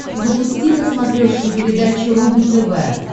запусти на смотрешке передачу рубль тв